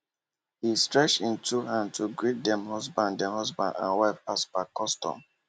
he stretch him two hand to greet dem husband dem husband and wife as per custom